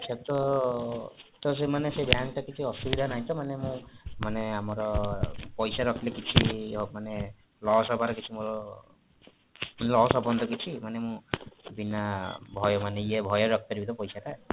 ଆଚ୍ଛା ତ ସେଇମାନେ ସେଇ bank ରେ କିଛି ଅସୁବିଧା ନାହିଁ ତ ମୁଁ ମାନେ ଆମର ପଇସା ରଖିଲେ କିଛି ମାନେ loss ହବାର କିଛି ମୋର loss ହବନି ତ କିଛି ମାନେ ବିନା ଭୟରେ ଇଏ ଭୟରେ ରଖିପାରିବ ତ ପଇସାଟା